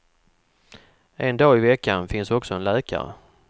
En dag i veckan finns också en läkare.